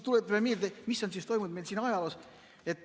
Tuletame meelde, mis on toimunud meie ajaloos.